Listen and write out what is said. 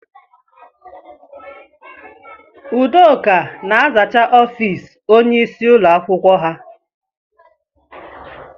Udoka na-azacha ọfiisi ónyé ịsị ụlọ akwụkwọ ha.